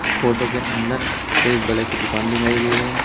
Photo के अंदर एक बड़े से दुकान दिखाई गई है।